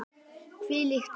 Hvílíkt fólk!